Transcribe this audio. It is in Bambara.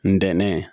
Ntɛnɛn